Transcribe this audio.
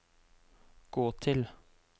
gå til